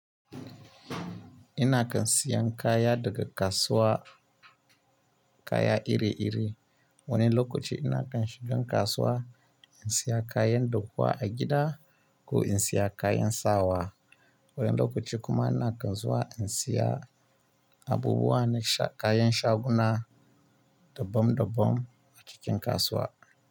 Ina kan siyan kaya daga kasuwa kaya iri-iri. Wani lokaci ina kan shiga kasuwa in saya kayan dahuwa a gida ko in saya kayan sawa. Wani lokaci kuma ina kan zuwa in siya abubuwa na kayan shaguna dabam dabam a cikin kasuwa.